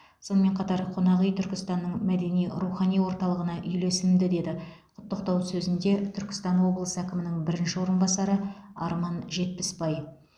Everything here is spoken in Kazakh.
сонымен қатар қонақүй түркістанның мәдени рухани орталығына үйлесімді деді құттықтау сөзінде түркістан облысы әкімінің бірінші орынбасары арман жетпісбай